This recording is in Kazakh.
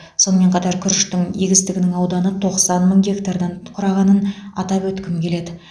сонымен қатар күріштің егістігінің ауданы тоқсан мың гектардан құрағанын атап өткім келеді